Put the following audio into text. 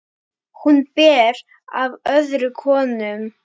Hún ber af öðrum konum.